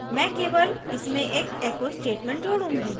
मैं केवल इसमें एक echo statement जोडूँगी